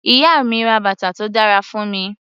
Ìyá mi ra bàtà tó dára fún mi.